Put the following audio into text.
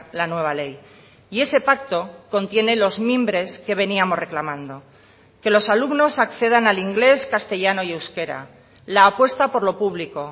la nueva ley y ese pacto contiene los mimbres que veníamos reclamando que los alumnos accedan al inglés castellano y euskera la apuesta por lo público